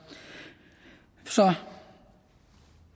så